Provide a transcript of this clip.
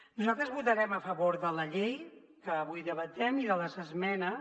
nosaltres votarem a favor de la llei que avui debatem i de les esmenes